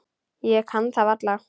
Ég kann það varla.